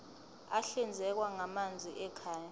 ahlinzekwa ngamanzi ekhaya